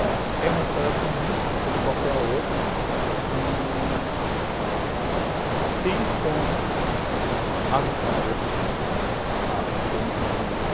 É uma história comum, como qualquer outra, que tem como ajudar outras pessoas a ter uma vida melhor.